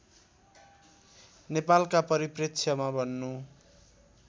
नेपालका परिप्रेक्ष्यमा भन्नु